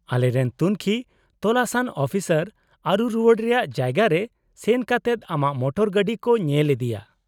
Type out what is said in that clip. -ᱟᱞᱮᱨᱮᱱ ᱛᱩᱝᱠᱷᱤ ᱛᱚᱞᱟᱥᱟᱱ ᱚᱯᱷᱤᱥᱟᱨ ᱟᱹᱨᱩ ᱨᱩᱣᱟᱹᱲ ᱨᱮᱭᱟᱜ ᱡᱟᱭᱜᱟ ᱨᱮ ᱥᱮᱱ ᱠᱟᱛᱮᱫ ᱟᱢᱟᱜ ᱢᱚᱴᱚᱨ ᱜᱟᱹᱰᱤ ᱠᱚ ᱧᱮᱞ ᱤᱫᱤᱭᱟ ᱾